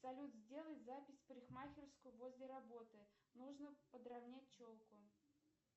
салют сделай запись в парикмахерскую возле работы нужно подравнять челку